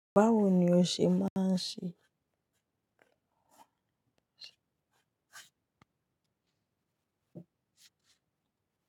Bawo ni o ṣe máa ń ṣe?